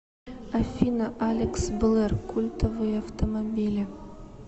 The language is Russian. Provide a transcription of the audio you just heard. афина алекс блэр культовые автомобили